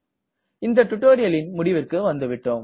இந்த டுட்டோரியலின் முடிவிற்கு வந்துவிட்டோம்